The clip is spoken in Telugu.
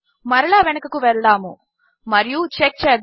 మరలా వెనుకకు వద్దాము మరియు చెక్ చేద్దాము